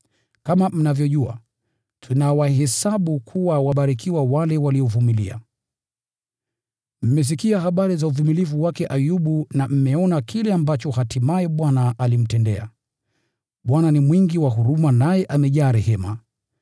Kama mnavyojua, tunawahesabu kuwa wabarikiwa wale waliovumilia. Mmesikia habari za uvumilivu wake Ayubu na mmeona kile ambacho hatimaye Bwana alimtendea. Bwana ni mwingi wa huruma, na amejaa rehema.